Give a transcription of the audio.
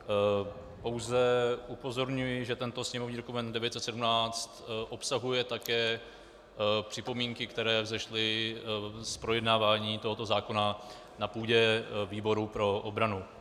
Pouze upozorňuji, že tento sněmovní dokument 917 obsahuje také připomínky, které vzešly z projednávání tohoto zákona na půdě výboru pro obranu.